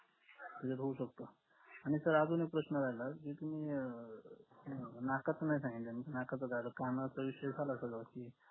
होऊ शकत आणि sir अजून एक प्रश्न राहिला कि तुम्ही अह नाकाचं नाय सांगितलं नाकाचं झालं कणाच विषयी झालं असाल व्यवस्तिथ